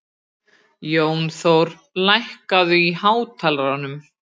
Jónþór, lækkaðu í hátalaranum.